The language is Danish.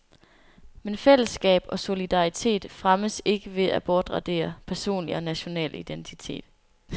Men fællesskab og solidaritet fremmes ikke ved at bortradere personlig og national identitet.